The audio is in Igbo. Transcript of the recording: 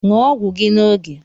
Ṅụọ ọgwụ gi n’oge